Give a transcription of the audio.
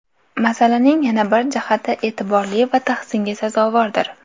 Masalaning yana bir jihati e’tiborli va tahsinga sazovordir.